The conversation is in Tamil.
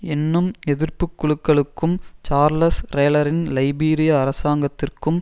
என்னும் எதிர்ப்பு குழுக்களுக்கும் சார்லஸ் ரேலரின் லைபீரிய அரசாங்கத்திற்கும்